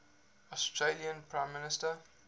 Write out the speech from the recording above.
australian prime minister